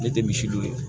Ne tɛ misi don